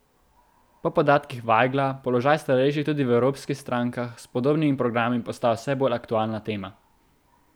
Po podatkih Vajgla položaj starejših tudi v evropskih strankah s podobnimi programi postaja vse bolj aktualna tema.